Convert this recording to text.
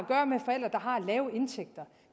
lave indtægter